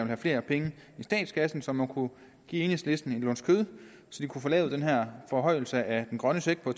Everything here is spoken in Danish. have flere penge i statskassen så man kunne give enhedslisten en luns kød så de kunne få lavet den her forhøjelse af den grønne check på